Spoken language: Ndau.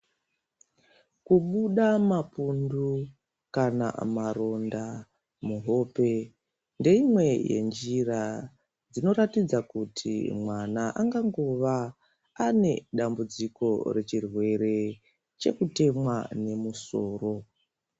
Kubuda mapundu kana maronda muhope ,ndeimwe yenjira inoratidza kuti mwana angangova, ane dambudziko rechirwere chekutemwa nemusoro.